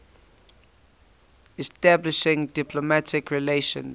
establishing diplomatic relations